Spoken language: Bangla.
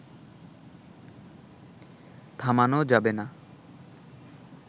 থামানো যাবে না